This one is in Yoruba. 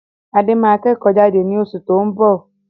Adé máa kẹ́kò jade ni osù to n bọ̀